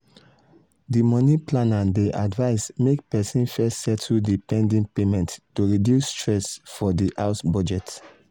di money planner dey advise make person first settle di pending payments to reduce stress for di house budget